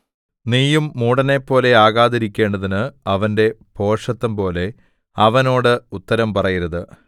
നീയും മൂഢനെപ്പോലെ ആകാതിരിക്കേണ്ടതിന് അവന്റെ ഭോഷത്തംപോലെ അവനോട് ഉത്തരം പറയരുത്